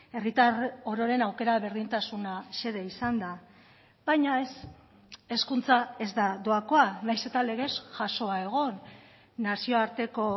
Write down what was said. herritar ororen aukera berdintasuna xede izanda baina ez hezkuntza ez da doakoa nahiz eta legez jasoa egon nazioarteko